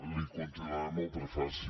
li continuaré amb el prefaci